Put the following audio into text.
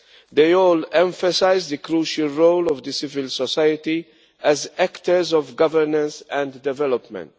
They all emphasise the crucial role of civil society as actors of governors and development.